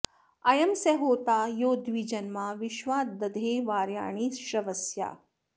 अ॒यं स होता॒ यो द्वि॒जन्मा॒ विश्वा॑ द॒धे वार्या॑णि श्रव॒स्या